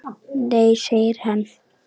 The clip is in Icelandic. Nei segir hann.